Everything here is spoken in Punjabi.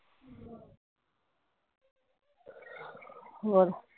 ਹੋਰ